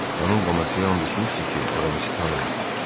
Xanım Bonasiya and içmişdi ki, Aramisi tanımır.